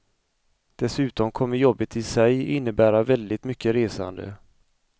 Dessutom kommer jobbet i sig innebära väldigt mycket resande.